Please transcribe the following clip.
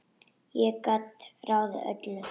Ég gat ráðið öllu.